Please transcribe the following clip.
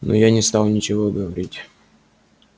но я не стал ничего говорить